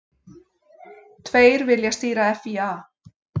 Tveir vilja stýra FÍA